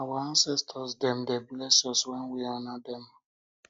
our ancestor dem dey bless us wen we honour dem